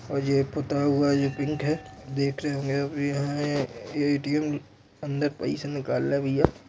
--और यह पुट्टा हुआ यह पिंक है देखने में भी यहाँ ए_टी_एम अंदर पइसा निकल भईया --